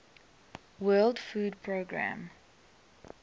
world food programme